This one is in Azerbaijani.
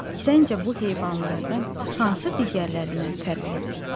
Səncə bu heyvanlardan hansı digərlərindən fərqlidir?